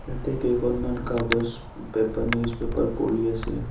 তাতে কেইখনমান কাগজ পেঁপা নিউজ পেপাৰ পৰি আছে।